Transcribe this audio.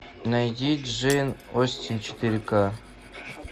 найди джейн остин четыре ка